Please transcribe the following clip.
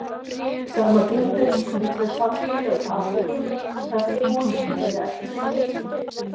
sama gildir um þau samfélög afríku þar sem konur hylja ekki brjóst sín